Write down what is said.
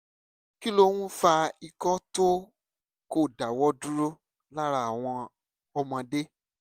kí ló ń fa ikọ́ tí kò dáwọ́ dúró lára àwọn ọmọdé?